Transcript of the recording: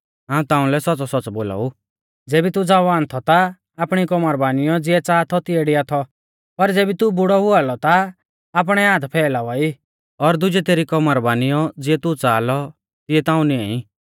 हाऊं ताउंलै सौच़्च़ौसौच़्च़ौ बोलाऊ ज़ेबी तू ज़वान थौ ता आपणी कौमर बानिऔ ज़िऐ च़ाहा थौ तिऐ डिआ थौ पर ज़ेबी तू बुड़ौ औआ लौ ता आपणै हाथ फौइलावा ई और दुजै तेरी कौमर बानियौ ज़िऐ तू नाईं च़ाहा लौ तिऐ ताऊं नियां ई